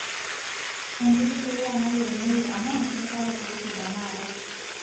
Enkiti puliya nayieunoyu amu keisapuk rutuba naata.